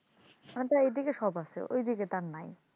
আমাদের এই দিকে সব আছে ওই দিকে তা নাই,